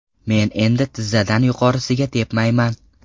Men endi tizzadan yuqorisiga tepmayman.